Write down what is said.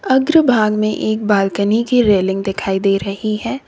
अग्रभाग में एक बालकनी की रेलिंग दिखाई दे रही है।